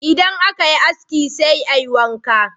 Idan aka yi aski sai a yi wanka.